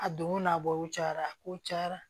A donko n'a bɔ cayara a kow cayara